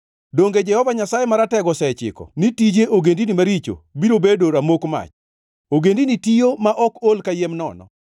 Donge Jehova Nyasaye Maratego osechiko ni tije ogendini maricho biro bedo ramok mach, ogendini tiyo ma ol kayiem nono?